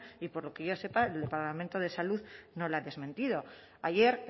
y por lo que yo sepa el departamento de salud no lo ha desmentido ayer